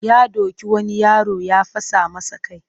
Ya doki wani yaro ya fasa masa kai